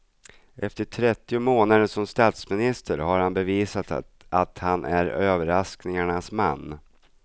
Efter trettio månader som statsminister har han bevisat att han är överraskningarnas man.